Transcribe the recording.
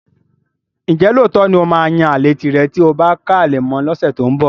Ǹjẹ́ lóòótọ́ ni ó máa yan àlè tìrẹ tí o bá ká ale mọ́ ọn lọ́sẹ̀ tó ń bọ̀?